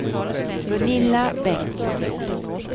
Gunilla Bengtsson